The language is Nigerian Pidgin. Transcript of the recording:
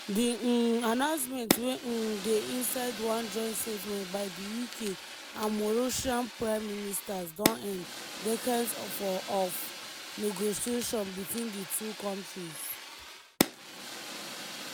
di um announcement wey um dey inside one joint statement by di uk and mauritian prime ministers don end decades of negotiations between di two kontris.